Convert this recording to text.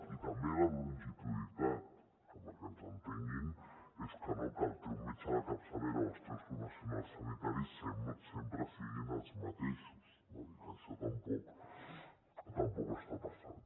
i també la longitudinalitat que perquè ens entenguin és que el teu metge de capçalera o els teus professionals sanitaris sempre siguin els mateixos no i que això tampoc està passant